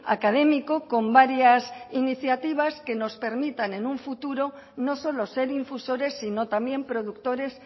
académico con varias iniciativas que nos permitan en un futuro no solo ser infusores sino también productores